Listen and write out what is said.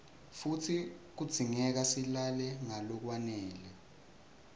futsi kudzingeka silale ngalokwanele